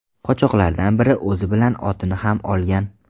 Qochoqlardan biri o‘zi bilan otini ham olgan.